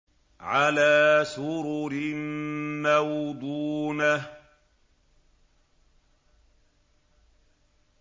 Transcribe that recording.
عَلَىٰ سُرُرٍ مَّوْضُونَةٍ